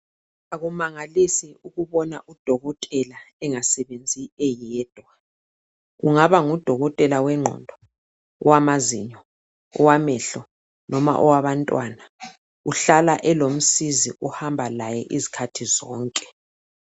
Akumangalisi ukubona udokotela engasebenzi eyedwa kungaba ngudokotela wengqondo owamazinyo owamehlo noma owabantwana uhlala elomsizi ohamba laye izikhathi zonke.